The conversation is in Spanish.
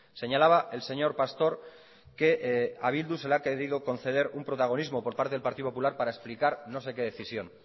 señalaba el señor pastor que a bildu se le ha querido conceder un protagonismo por parte del partido popular para explicar no sé qué decisión